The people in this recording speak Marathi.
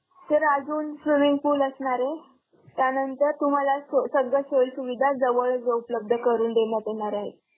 Sir अजून swimming pool असणार आहे, त्यानंतर तुम्हांला सगळं सोयी सुविधा जवळ उपलब्ध करुन देण्यात येणार आहेत.